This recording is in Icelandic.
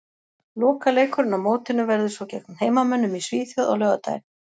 Lokaleikurinn á mótinu verður svo gegn heimamönnum í Svíþjóð á laugardaginn.